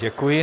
Děkuji.